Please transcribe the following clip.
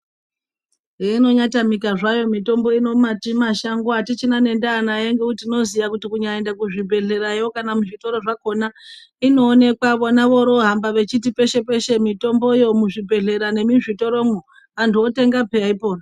Heinonyatamika zvayo mitombo ino mati mashango atichina nendaa nayo ngekuti tinoziya kuti kunyaenda kuzvibhedhlerayo kana muzvitoro zvakhona inoonekwa vona voroohamba vechiti peshe peshe mitomboyo muzvibhedhlera nemuzvitoro mwo antu votenga pheya po.